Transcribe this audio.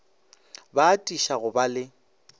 ba atiša go ba le